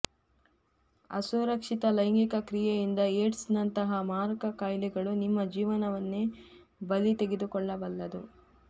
ಅಸುರಕ್ಷಿತ ಲೈಂಗಿಕ ಕ್ರಿಯೆಯಿಂದ ಏಡ್ಸ್ ನಂತಹ ಮಾರಕ ಕಾಯಿಲೆಗಳು ನಿಮ್ಮ ಜೀವವನ್ನೇ ಬಲಿ ತೆಗೆದುಕೊಳ್ಳಬಲ್ಲದು